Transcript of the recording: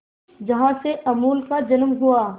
जहां से अमूल का जन्म हुआ